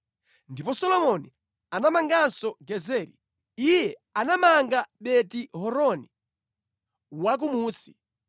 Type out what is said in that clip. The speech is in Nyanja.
Ndipo Solomoni anamanganso Gezeri.) Iye anamanga Beti-Horoni Wakumunsi,